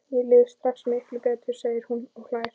Mér líður strax miklu betur, segir hún og hlær.